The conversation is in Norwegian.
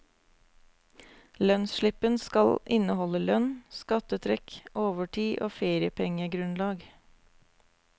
Lønnsslippen skal inneholde lønn, skattetrekk, overtid og feriepengegrunnlag.